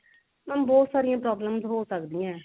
mam ਬਹੁਤ ਸਾਰੀਆਂ problems ਹੋ ਸਕਦੀਆਂ